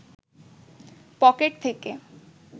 pocket থেকে